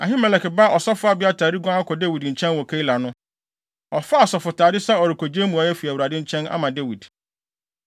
Ahimelek ba Ɔsɔfo Abiatar reguan akɔ Dawid nkyɛn wɔ Keila no, ɔfaa asɔfotade sɛ ɔrekogye mmuae afi Awurade nkyɛn ama Dawid.